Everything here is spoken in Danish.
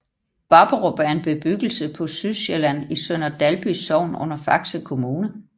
Babberup er en bebyggelse på Sydsjælland i Sønder Dalby Sogn under Faxe Kommune